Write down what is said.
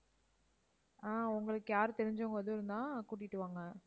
ஆஹ் உங்களுக்கு யார் தெரிஞ்சவங்க இருந்தாலும் கூட்டிட்டு வாங்க.